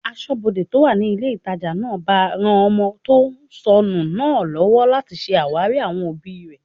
Asọ́bodè tó wà ní ilé ìtajà náà bá ran ọmọ tó sọnù náà lọ́wọ́ láti ṣe àwárí àwọn òbí rẹ̀